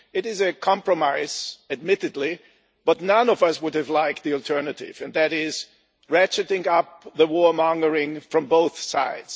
It is a compromise, admittedly, but none of us would have liked the alternative and that is ratcheting up the warmongering from both sides.